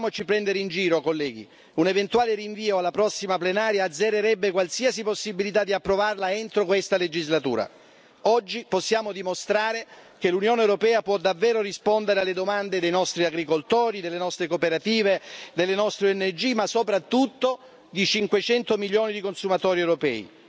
Quindi non facciamoci prendere in giro, colleghi un eventuale rinvio alla prossima plenaria azzererebbe qualsiasi possibilità di approvarla entro questa legislatura. Oggi possiamo dimostrare che l'Unione europea può davvero rispondere alle domande dei nostri agricoltori, delle nostre cooperative, delle nostre ONG ma soprattutto di 500 milioni di consumatori europei.